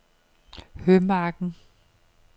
Hømarken